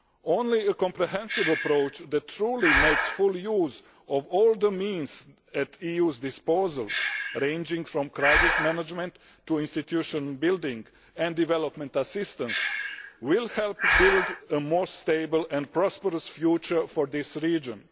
Only a comprehensive approach that truly makes full use of all the means at the EU's disposal ranging from crisis management to institution building and development assistance will help build a more stable and prosperous future for this region.